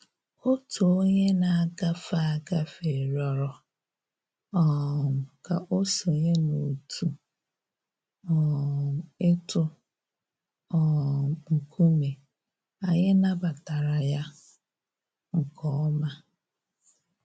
Otu onye na-agafe agafe rịọrọ um ka o sonye n'otu um ịtụ um nkume, anyị nabatara ya nke ọma